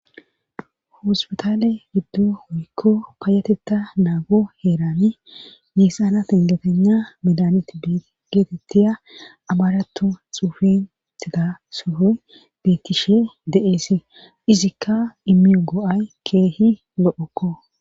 hospitale giddo woykko payatetta naago heerani meessana tingetena medaneti geetettiya abaaratu xuufin tida sohoy beettishe de7eesi izikka imiyu go7ay keehi lo7okko